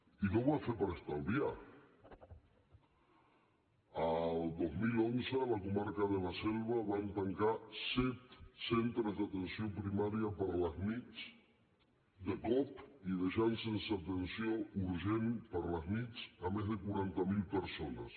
i no ho va fer per estalviar el dos mil onze a la comarca de la selva van tancar set centres d’atenció primària per les nits de cop i deixant sense atenció urgent per les nits més de quaranta mil persones